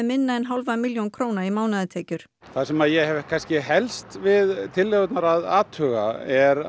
minna en hálfa milljón króna í mánaðartekjur það sem ég hef kannski helst við tillögurnar að athuga er